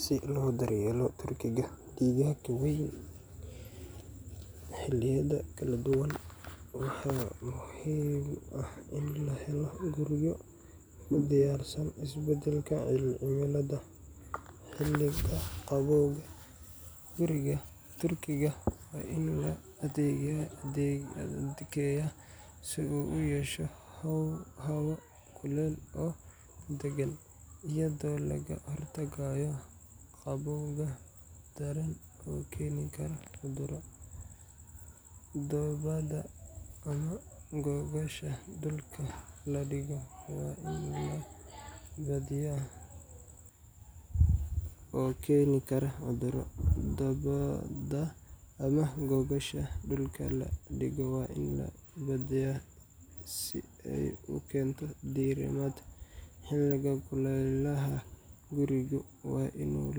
Si lodaryelo turkiga gigaaga weyn hiliyada kaladuwanwaxay muxiim utahay in lahelo quryo udiyarsan isbadalka cimilada hiliyadaha qawow ama hulel, hikigaa turkiga wa in ladageya si uu uyesho hawo kulel oo dagan, iyado lagahortago qawowga badan oo hen kara cudurada, oo keni kara cuduro dabada ama gogosha dulka ladigo wa inay badmdeya si ay ukento dirimad hiliga kulelaha, guriga wa inu uu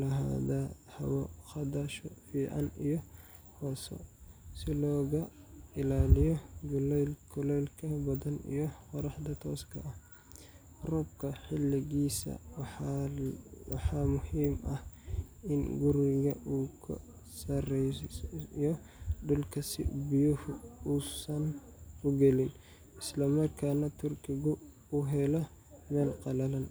lahada hawoo fican si loagilayo kulelka badan iyo qoraxda toska ah, roobka hiligisa waxa muxiim ah in guriga uu kasareyo dulka si biyuhu usan galiin islamarkana turkigu uu uhelo mel qalalan,.